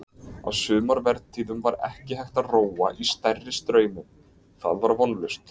Á sumarvertíðum var ekki hægt að róa í stærri straumum, það var vonlaust.